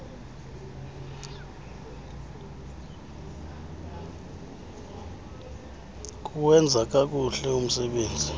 kuwenza kakuhle umsebenzi